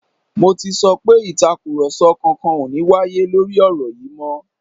Mo ti sọ pé Ìtàkùrọ̀sọ kankan ò ní wáyé lórí ọ̀rọ̀ yìí mọ́